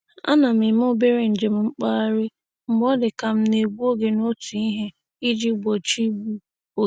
A na m eme obere njem mkpagharị mgbe ọ dị ka m na-egbu oge n'otu ihe iji gbochi igbu oge.